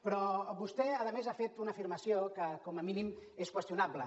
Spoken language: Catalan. però vostè a més ha fet una afirmació que com a mínim és qüestionable